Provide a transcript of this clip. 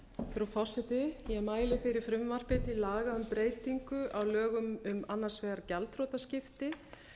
frú forseti ég mæli fyrir frumvarpi til laga um breytingu á lögum um annars vegar gjaldþrotaskipti